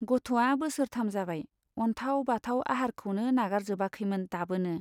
गथ'आ बोसोरथाम जाबाय , अनथाव बाथाव आहारखौनो नागारजोबाखैमोन दाबोनो।